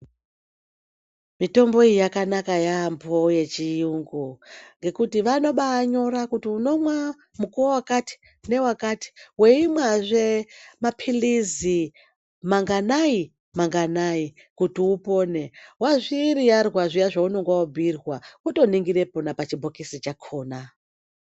Mitombo iyi yakanaka yambo yechiyungu ngekuti vanobai nyora kuti unomwa mukovo wakati ne wakati weimwa zve mapilizi manganai manganai kuti upone wazvi riyarwa zviyani zvaunenge wa bhiyirwa woto ningira pona pachibhokisi chakona.